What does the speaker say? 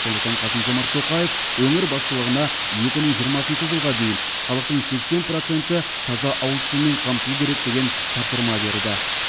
сондықтан қасым жомарт тоқаев өңір басшылығына екі мың жиырмасыншы жылға дейін халықтың сексен проценті таза ауыз сумен қамтылу керек деген тапсырма берді